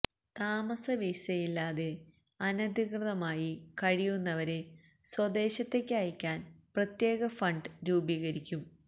താമസ വിസയില്ലാതെ അനധികൃതമായി കഴിയുന്നവരെ സ്വദേശത്തേക്ക് അയ്ക്കാന് പ്രത്യേക ഫണ്ട് രൂപീകരിക്കും